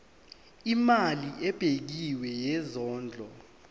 imali ebekiwe yesondlo